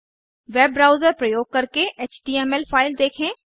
web browser प्रयोग करके HTML file देखें